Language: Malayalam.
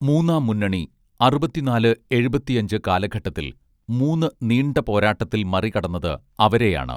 മൂന്നാം മുന്നണി അറുപത്തിനാല് എഴുപത്തിയഞ്ച് കാലഘട്ടത്തിൽ മൂന്നു നീണ്ട പോരാട്ടത്തിൽ മറികടന്നത് അവരെയാണ്